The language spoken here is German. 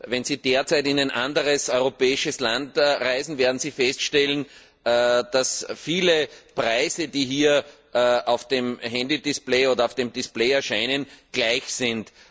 Wenn Sie derzeit in ein anderes europäisches Land reisen, werden Sie feststellen, dass viele Preise, die hier auf dem Handy Display oder auf dem Display erscheinen, gleich sind.